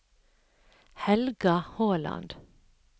Helga Håland